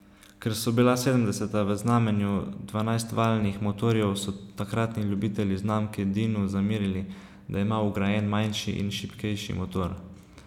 Ker so bila sedemdeseta v znamenju dvanajstvaljnih motorjev so takratni ljubitelji znamke dinu zamerili, da ima vgrajen manjši in šibkejši motor.